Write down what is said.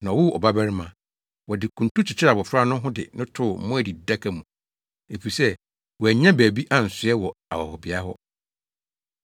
na ɔwoo ɔbarima. Wɔde kuntu kyekyeree abofra no ho de no too mmoa adididaka mu, efisɛ wɔannya baabi ansoɛ wɔ ahɔhobea hɔ.